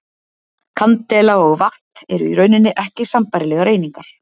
Kandela og vatt eru í rauninni ekki sambærilegar einingar.